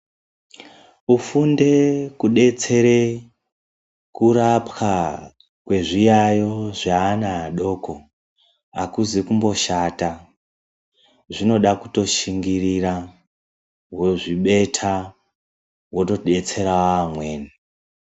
Kufunde kedetsere kurapwa kwezviyayo zveana adoko akuzi kumboshata, zvinoda kutoshingirira wozvibeta wotodetsera vamweni.